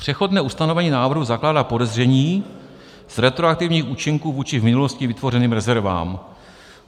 Přechodné ustanovení návrhu zakládá podezření z retroaktivních účinků vůči v minulosti vytvořeným rezervám.